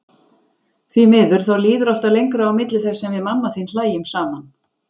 Því miður, þá líður alltaf lengra á milli þess sem við mamma þín hlæjum saman.